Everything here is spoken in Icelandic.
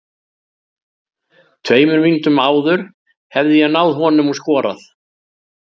Tveimur mínútum áður hefði ég náð honum og skorað.